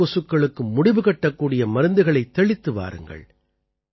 மணல் கொசுக்களுக்கு முடிவு கட்டக்கூடிய மருந்துகளைத் தெளித்து வாருங்கள்